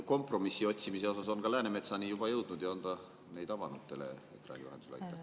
… kompromissi otsimisest on ka Läänemetsani juba jõudnud ja on ta neid avanud teleekraani vahendusel?